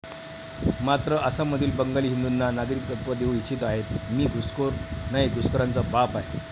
मात्र आसाममधील बंगाली हिंदूंना नागरिकत्व देऊ इच्छित आहेतमी घुसखोर नाही घुसखोरांचा बाप आहे.